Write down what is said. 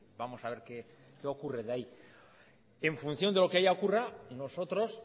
vamos a ver qué ocurre ahí en función de lo que allá ocurra nosotros